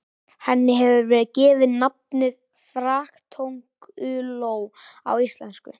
Henni hefur verið gefið nafnið fraktkönguló á íslensku.